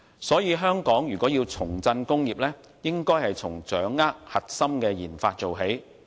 所以，香港如果要重振工業，應該從掌握核心的研發做起。